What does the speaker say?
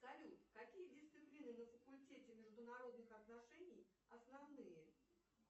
салют какие дисциплины на факультете международных отношений основные